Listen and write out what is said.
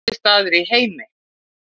Besti staður í heiminum